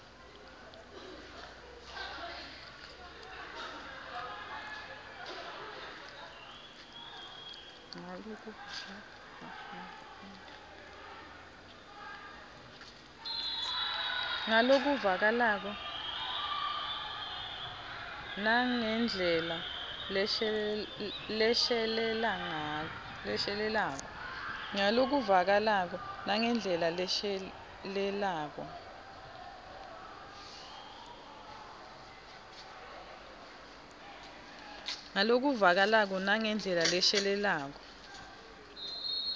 ngalokuvakalako nangendlela leshelelako